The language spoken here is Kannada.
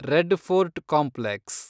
red Fort complex